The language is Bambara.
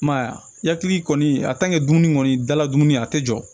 I m'a ye a ya hakili kɔni a dumuni kɔni dala dumuni a tɛ jɔ